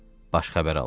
Baş xəbər aldı.